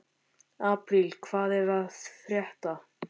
Apríl, hvað er að frétta?